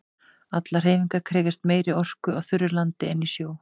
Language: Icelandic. Allar hreyfingar krefjast meiri orku á þurru landi en í sjó.